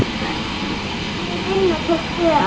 Sú vinna tók tvö ár.